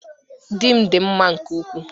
Di m di m mma nke ukwuu